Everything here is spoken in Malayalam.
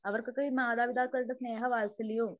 അവർക്കൊക്കെ മാതാപിതാക്കളുടെ സ്നേഹവാൽസല്യവും